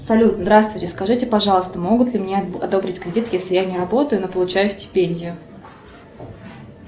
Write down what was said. салют здравствуйте скажите пожалуйста могут ли мне одобрить кредит если я не работаю но получаю стипендию